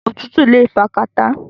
Òtútù le fa kàtá.